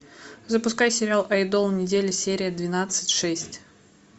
запускай сериал айдол недели серия двенадцать шесть